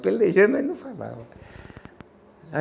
Pelejei, mas não falava. Aí